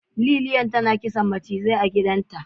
Lilian tana kisan mucizai a gidanta.